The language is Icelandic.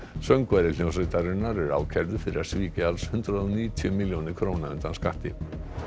söngvari hljómsveitarinnar er ákærður fyrir að svíkja alls hundrað og níutíu milljónir króna undan skatti